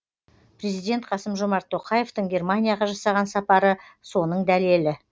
президент қасым жомарт тоқаевтың германияға жасаған сапары соның дәлелі